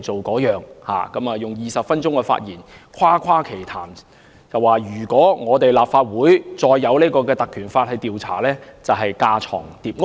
局長在20分鐘的發言裏誇誇其談，說如果立法會再引用《立法會條例》進行調查就是架床疊屋。